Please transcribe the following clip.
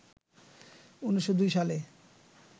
১৯০২ সালে